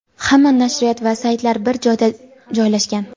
Hamma nashriyot va saytlar bir joyda joylashgan.